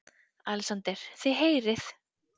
ALEXANDER: Þið heyrið!